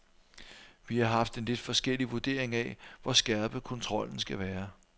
Vi har haft en lidt forskellig vurdering af, hvor skærpet kontrollen skal være.